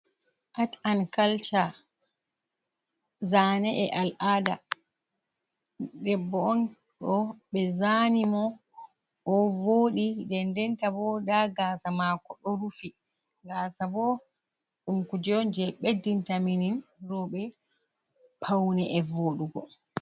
Art an culture zane e al'ada, ɗebbo on ɗo ɓe zani mo o ɗo voɗi, den den ta bo, nda gasa mako ɗo rufi, gasa bo ɗum kuje on je ɓe dinta min roɓɓe paune voɗugo.